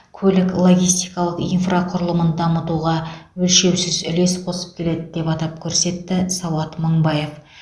көлік логистикалық инфрақұрылымын дамытуға өлшеусіз үлес қосып келеді деп атап көрсетті сауат мыңбаев